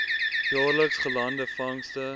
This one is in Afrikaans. jaarliks gelande vangste